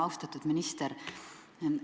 Austatud minister!